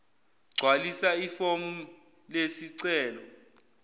gcwalisa ifomu lesicelo